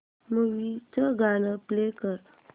movie चं गाणं play कर